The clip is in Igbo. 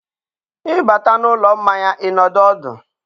ị bata n'ụlọ mmanya, ị nọdụ ọdụ.